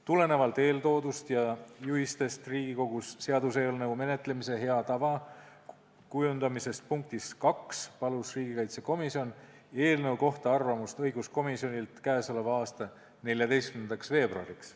Tulenevalt eeltoodust ja dokumendi "Juhised Riigikogus seaduseelnõu menetlemise hea praktika kujundamiseks" punktist 2 palus riigikaitsekomisjon eelnõu kohta arvamust õiguskomisjonilt k.a 14. veebruariks.